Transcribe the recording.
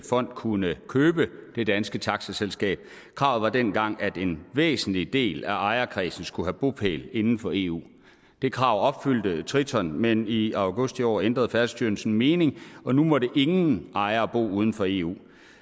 fond kunne købe det danske taxaselskab kravet var dengang at en væsentlig del af ejerkredsen skulle have bopæl inden for eu det krav er opfyldt triton men i august i år ændrede færdselsstyrelsen mening og nu måtte ingen ejere bo uden for eu